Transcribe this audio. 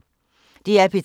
DR P3